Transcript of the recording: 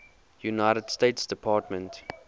united states department